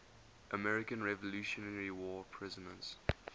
american revolutionary war prisoners